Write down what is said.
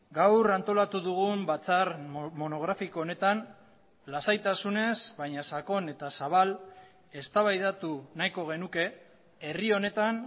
gaur antolatu dugun batzar monografiko honetan lasaitasunez baina sakon eta zabal eztabaidatu nahiko genuke herri honetan